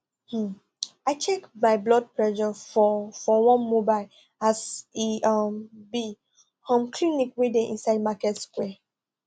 um i check my blood pressure for for one mobile as e um be um clinic wey dey inside market square